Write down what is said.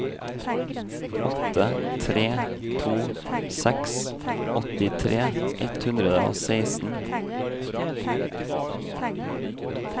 åtte tre to seks åttitre ett hundre og seksten